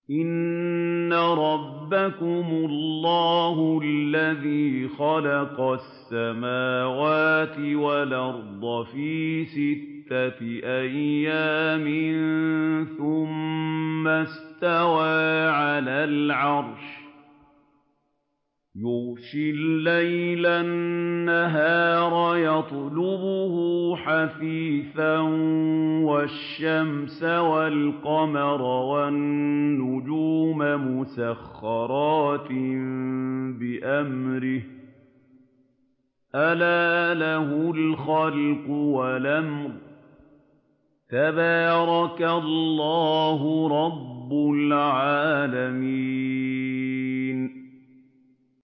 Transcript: إِنَّ رَبَّكُمُ اللَّهُ الَّذِي خَلَقَ السَّمَاوَاتِ وَالْأَرْضَ فِي سِتَّةِ أَيَّامٍ ثُمَّ اسْتَوَىٰ عَلَى الْعَرْشِ يُغْشِي اللَّيْلَ النَّهَارَ يَطْلُبُهُ حَثِيثًا وَالشَّمْسَ وَالْقَمَرَ وَالنُّجُومَ مُسَخَّرَاتٍ بِأَمْرِهِ ۗ أَلَا لَهُ الْخَلْقُ وَالْأَمْرُ ۗ تَبَارَكَ اللَّهُ رَبُّ الْعَالَمِينَ